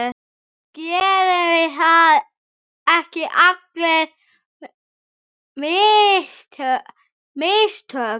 Gerum við ekki allir mistök?